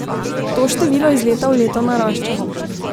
To število iz leta v leto narašča.